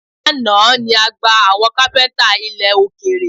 Lánàá ni a gba àwọn kápẹ́ńtà ilẹ̀ òkèrè